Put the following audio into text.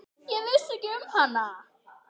Ég vissi ekki um hana.